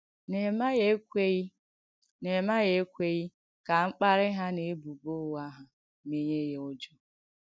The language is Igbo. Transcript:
Nèhèmàịà èkwèghì Nèhèmàịà èkwèghì ka m̀kpàrị̀ hà na èbùbọ̀ ụ̀ghà hà mènyè ya ụ̀jọ̣.